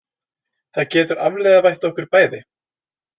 Það getur afvegaleitt okkur bæði.